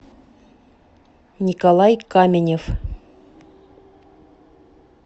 николай каменев